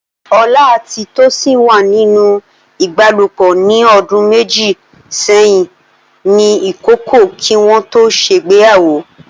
Ola àti Tosin wà nínú ìbálòpọ̀ ní ọdún méjì sẹ́yìn ní ìkọ̀kọ̀, kí wọ́n tó ṣègbéyàwó.